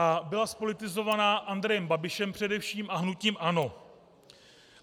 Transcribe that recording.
A byla zpolitizovaná Andrejem Babišem především a hnutím ANO.